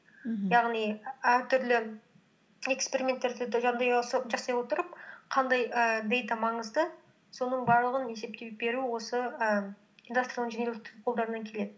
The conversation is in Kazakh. мхм яғни әртүрлі эксперименттерді жасай отырып қандай ііі дэйта маңызды соның барлығын есептеп беру осы ім индастриал инжинирингтің қолдарынан келеді